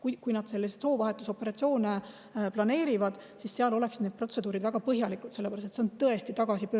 Et kui arstid selliseid soovahetusoperatsioone planeerivad, siis seal oleksid need protseduurid väga põhjalikult.